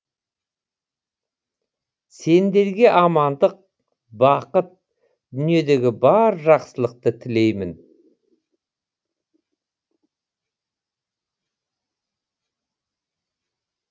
сендерге амандық бақыт дүниедегі бар жақсылықты тілеймін